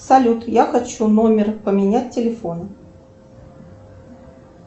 салют я хочу номер поменять телефона